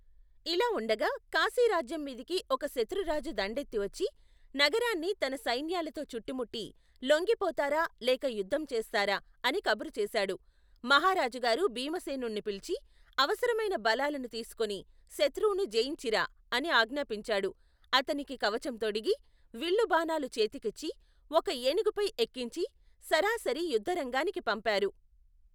ఇలా ఉండగా కాశీరాజ్యంమీదికి ఒక శత్రురాజు దండెత్తి వచ్చి, నగరాన్ని తన సైన్యాలతో చుట్టుముట్టి, లోంగిపోతారా? లేక యుద్ధం చేస్తారా? అని కబురు చేశాడు. మహారాజుగారు భీమసేనుణ్ణి పిలిచి, అవసరమైన బలాలను తీసుకుని శత్రువును జయించిరా! అని ఆజ్ఞాపించాడు. అతనికి కవచం తొడిగి, విల్లు బాణాలు చేతికిచ్చి, ఒక ఏనుగుపై ఎక్కించి సరాసరి యుద్ధరంగానికి పంపారు.